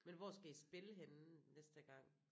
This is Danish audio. Men hvor skal I spille henne næste gang?